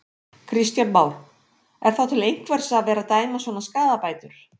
Kristján Már: Er þá til einhvers að vera að dæma svona skaðabætur?